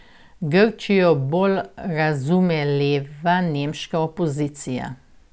Grčijo bolj razume leva nemška opozicija.